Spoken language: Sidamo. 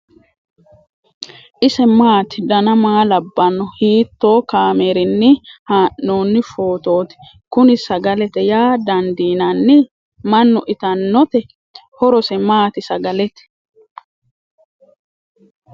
ise maati ? dana maa labbanno ? hiitoo kaameerinni haa'noonni footooti ? kuni sagalete yaa dandiinanni ? mannu itannote ? horose maati sagalete ?